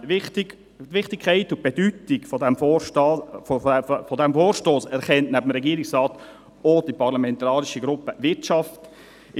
Die Wichtigkeit und Bedeutung dieses Vorstosses wird neben dem Regierungsrat auch von der parlamentarischen Gruppe Wirtschaft anerkannt.